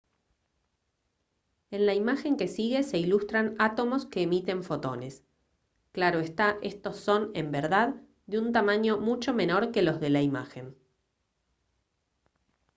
en la imagen que sigue se ilustran átomos que emiten fotones claro está estos son en verdad de un tamaño mucho menor que los de la imagen